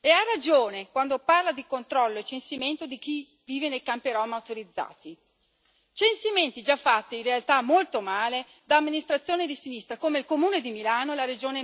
e ha ragione quando parla di controllo e censimento di chi vive nei campi rom autorizzati, censimenti già fatti, in realtà, molto male da amministrazioni di sinistra, come il Comune di Milano e la Regione